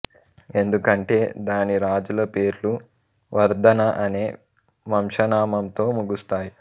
ఎందుకంటే దాని రాజుల పేర్లు వర్ధన అనే వంశనామంతో ముగుస్తాయి